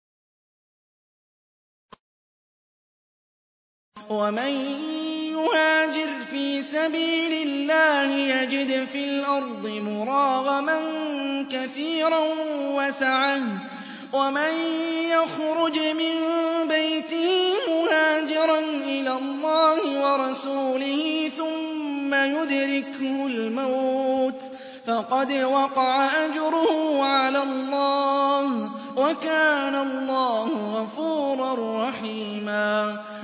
۞ وَمَن يُهَاجِرْ فِي سَبِيلِ اللَّهِ يَجِدْ فِي الْأَرْضِ مُرَاغَمًا كَثِيرًا وَسَعَةً ۚ وَمَن يَخْرُجْ مِن بَيْتِهِ مُهَاجِرًا إِلَى اللَّهِ وَرَسُولِهِ ثُمَّ يُدْرِكْهُ الْمَوْتُ فَقَدْ وَقَعَ أَجْرُهُ عَلَى اللَّهِ ۗ وَكَانَ اللَّهُ غَفُورًا رَّحِيمًا